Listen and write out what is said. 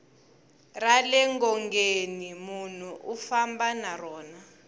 rale ngongeni nmunhu u famba na rona